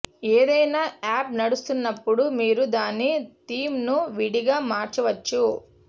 ఏది అయిన యాప్ నడుస్తున్నప్పుడు మీరు దాని థీమ్ను విడిగా మార్చవచ్చు